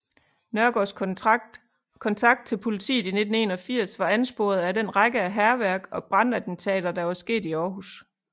Nørgaards kontakt til politiet i 1981 var ansporet af den række af hærværk og brandattentater der havde sket i Århus